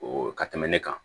O ka tɛmɛn ne kan